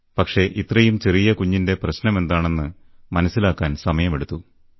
പക്ഷേ ഇത്രയും ചെറിയകുഞ്ഞിന്റെ പ്രശ്നമെന്താണെന്ന് മനസ്സിലാക്കാൻ സമയമെടുത്തു